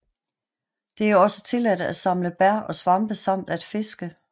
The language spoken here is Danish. Det er også tilladt at samle bær og svampe samt at fiske